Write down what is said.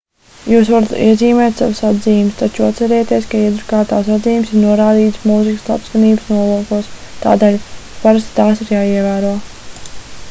jūs varat iezīmēt savas atzīmes taču atcerieties ka iedrukātās atzīmes ir norādītas mūzikas labskanības nolūkos tādēļ parasti tās ir jāievēro